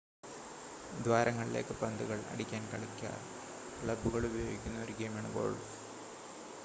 ദ്വാരങ്ങളിലേക്ക് പന്തുകൾ അടിക്കാൻ കളിക്കാർ ക്ലബ്ബുകൾ ഉപയോഗിക്കുന്ന ഒരു ഗെയിമാണ് ഗോൾഫ്